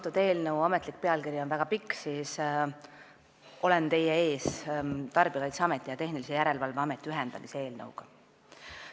Kuigi eelnõu ametlik pealkiri on väga pikk, võin öelda, et olen teie ees Tarbijakaitseameti ja Tehnilise Järelevalve Ameti ühendamise eelnõuga.